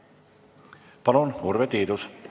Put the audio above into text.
Palun, Urve Tiidus!